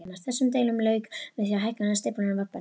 Þessum deilum lauk með því að hækkun stíflunnar var bönnuð.